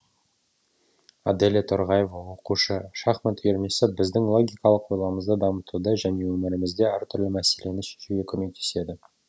аделя торғаева оқушы шахмат үйірмесі біздің логикалық ойлауымызды дамытады және өмірімізде әртүрлі мәселені шешуге көмектеседі